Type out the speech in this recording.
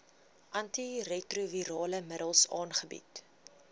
antiretrovirale middels aangebied